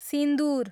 सिन्दुर